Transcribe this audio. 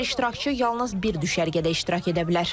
Hər iştirakçı yalnız bir düşərgədə iştirak edə bilər.